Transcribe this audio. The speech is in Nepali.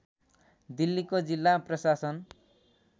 दिल्लीको जिल्ला प्रशासन